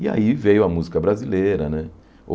E aí veio a música brasileira, né?